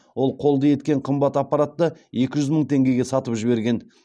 ол қолды еткен қымбат аппаратты екі жүз мың теңгеге сатып жіберген